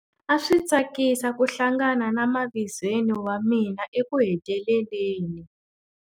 A swi tsakisa ku hlangana na mavizweni wa mina ekuheteleleni.